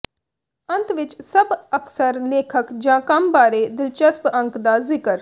ਅੰਤ ਵਿੱਚ ਸਭ ਅਕਸਰ ਲੇਖਕ ਜ ਕੰਮ ਬਾਰੇ ਦਿਲਚਸਪ ਅੰਕ ਦਾ ਜ਼ਿਕਰ